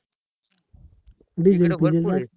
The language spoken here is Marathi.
कुठेच